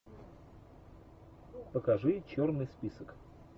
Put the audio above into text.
покажи черный список